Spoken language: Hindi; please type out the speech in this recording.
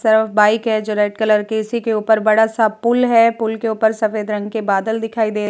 सर बाइक है जो रेड कलर की। इसी के उपर बडा सा पुल है। पुल ऊपर सफेद रंग के बादल दिखाई दे --